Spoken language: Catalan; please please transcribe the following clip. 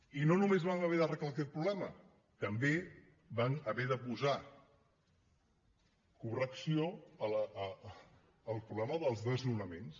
i no només vam haver d’arreglar aquest problema també vam haver de posar correcció al problema dels desnonaments